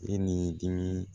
E ni dimi